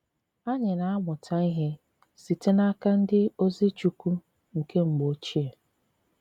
Anyị na amuta ihe site n'aka ndi ozi chukwu nke mgbo oche.